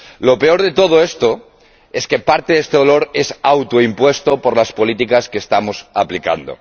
Lo peor de todo esto es que parte de este dolor viene autoimpuesto por las políticas que estamos aplicando.